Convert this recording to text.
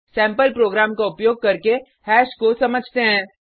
sample program का उपयोग करके हैश को समझते हैं